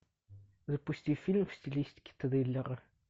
запусти фильм в стилистике триллера